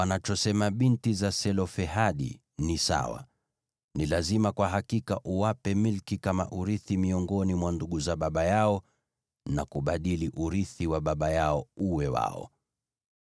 “Wanachosema binti za Selofehadi ni sawa. Ni lazima kwa hakika uwape milki kama urithi miongoni mwa ndugu za baba yao, na kubadili urithi wa baba yao uwe wao.